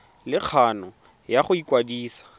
le kgano ya go ikwadisa